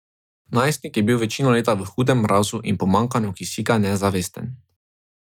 Najstnik je bil večino leta v hudem mrazu in pomanjkanju kisika nezavesten.